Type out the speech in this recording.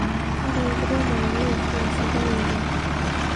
ore enkiremore naa esiai sidai oleng